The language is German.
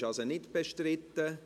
BauG ist also nicht bestritten.